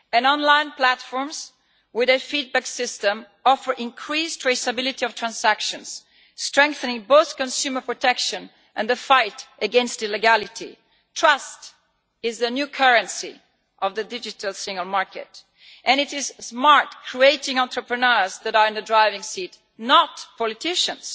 Online platforms, with their feedback system, offer increased traceability of transactions, strengthening both consumer protection and the fight against illegality. Trust is the new currency of the digital single market, and it is smart, creating entrepreneurs that are in the driving seat not politicians.